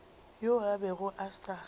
yoo a bego a sa